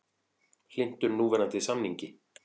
Hlynntur núverandi samningi